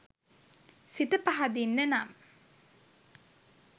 සිත පහදින්න නම්